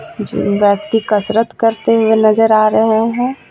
Gym व्यक्ति कसरत करते हुए नजर आ रहे हैं.